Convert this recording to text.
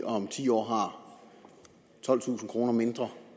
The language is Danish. om ti år har tolvtusind kroner mindre